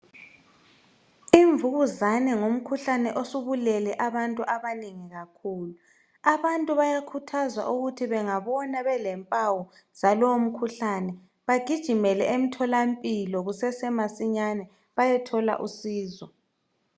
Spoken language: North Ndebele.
Imvukuzane ngumkhuhlane osubulele abantu abanengi kakhulu. Abantu bayakhuthazwa ukuthi bengabona belempawu zalowumkhuhlane bagijimele emtholampilo kusasemasinyane, bayethola usizo.